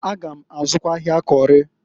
A gam azụkwa ahịa Kori.